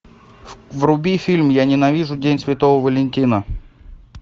вруби фильм я ненавижу день святого валентина